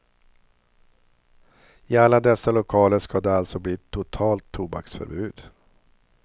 I alla dessa lokaler ska det alltså bli totalt tobaksförbud.